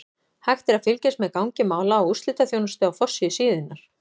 Hægt er að fylgjast með gangi mála á úrslitaþjónustu á forsíðu síðunnar.